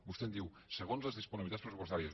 vostè em diu segons les disponibilitats pressupostàries